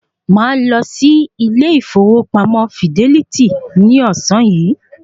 Màá lọ sí ilé ìfowópamọ́ fidẹ́lítì ní ọ̀sán yìí